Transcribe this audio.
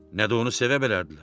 Nə də onu sevməzlərdir.